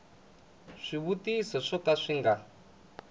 swivutiso swo ka swi nga